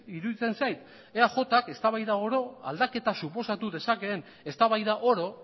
iruditzen zait eajk eztabaida oro aldaketa suposatu dezakeen eztabaida oro